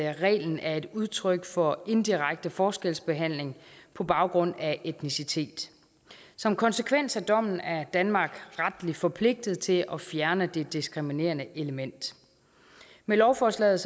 reglen er et udtryk for indirekte forskelsbehandling på baggrund af etnicitet som konsekvens af dommen er danmark retligt forpligtet til at fjerne det diskriminerende element med lovforslaget